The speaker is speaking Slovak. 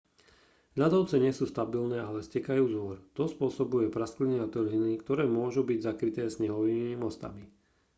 ľadovce nie sú stabilné ale stekajú z hôr to spôsobuje praskliny a trhliny ktoré môžu byť zakryté snehovými mostami